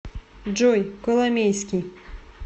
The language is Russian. джой коломейский